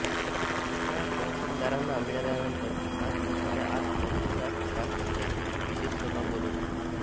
सुचना तहसीलदारांना मिळाल्यानंतर सात दिवसाच्या आत तहसीलदार ग्रामपंचायतीची विशेष सभा बोलवितो